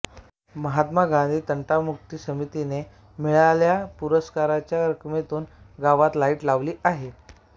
महात्मा गांधी तंटामुक्ती समिती ने मिळालेल्या पुरस्काराच्या रकमेतून गावात लाईट लावले आहेत